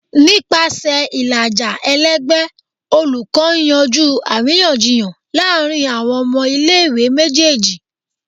Nipasẹ ilaja ẹlẹgbẹ, olukọ n yanju ariyanjiyan laarin awọn ọmọ ile-iwe mejeeji.